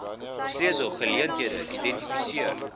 sleutel geleenthede identifiseer